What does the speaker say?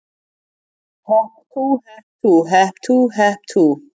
Hep tú, hep tú, hep tú, hep tú.